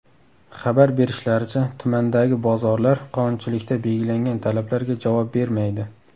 Xabar berishlaricha, tumandagi bozorlar qonunchilikda belgilangan talablarga javob bermaydi.